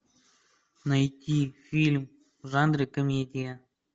найти фильм в жанре комедия